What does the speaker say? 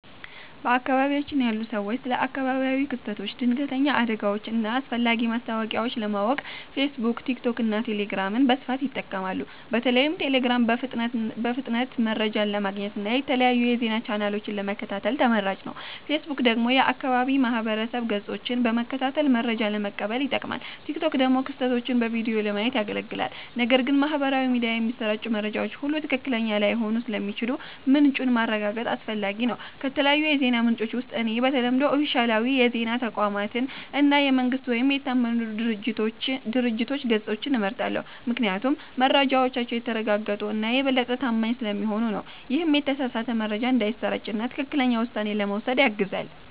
በአካባቢያችን ያሉ ሰዎች ስለ አካባቢያዊ ክስተቶች፣ ድንገተኛ አደጋዎች እና አስፈላጊ ማስታወቂያዎች ለማወቅ ፌስቡክ፣ ቲክቶክ እና ቴሌግራምን በስፋት ይጠቀማሉ። በተለይም ቴሌግራም በፍጥነት መረጃ ለማግኘት እና የተለያዩ የዜና ቻናሎችን ለመከታተል ተመራጭ ነው። ፌስቡክ ደግሞ የአካባቢ ማህበረሰብ ገጾችን በመከታተል መረጃ ለመቀበል ይጠቅማል፣ ቲክቶክ ደግሞ ክስተቶችን በቪዲዮ ለማየት ያገለግላል። ነገር ግን በማህበራዊ ሚዲያ የሚሰራጩ መረጃዎች ሁሉ ትክክለኛ ላይሆኑ ስለሚችሉ ምንጩን ማረጋገጥ አስፈላጊ ነው። ከተለያዩ የዜና ምንጮች ውስጥ እኔ በተለምዶ ኦፊሴላዊ የዜና ተቋማትን እና የመንግስት ወይም የታመኑ ድርጅቶች ገጾችን እመርጣለሁ፤ ምክንያቱም መረጃዎቻቸው የተረጋገጡ እና የበለጠ ታማኝ ስለሚሆኑ ነው። ይህም የተሳሳተ መረጃ እንዳይሰራጭ እና ትክክለኛ ውሳኔ ለመውሰድ ያግዛል።